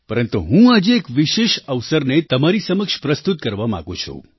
પરંતુ હું આજે એક વિશેષ અવસરને તમારી સમક્ષ પ્રસ્તુત કરવા માગું છું